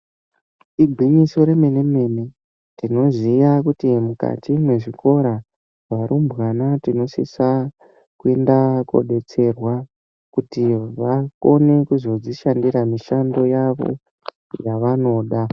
Igwinyiso remene mene tinoziya kuti mukati mwezvikora varumbwana tinosisa kuenda kodetserwa kuti vakone kuzodzishandira mishando yavo yavanoda.